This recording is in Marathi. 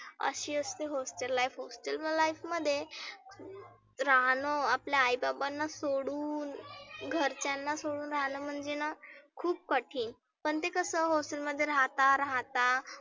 आशी असते hostel life hostel life मध्ये राहनं आपल्या आई बाबांना सोडुन घरच्यांना सोडुन राहन म्हणजेना खुप कठीन. पण ते कसं hostel मध्ये राहता राहता